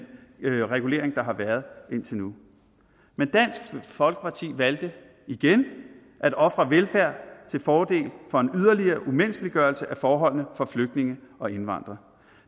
regulering der har været indtil nu men dansk folkeparti valgte igen at ofre velfærden til fordel for en yderligere umenneskeliggørelse af forholdene for flygtninge og indvandrere